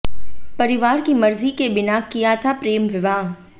परिवार की मर्जी के बिना किया था प्रेम विवाह